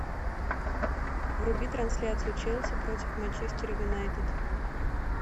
вруби трансляцию челси против манчестер юнайтед